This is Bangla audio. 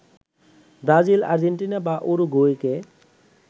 ব্রাজিল, আর্জেন্টিনা বা উরুগুয়েকে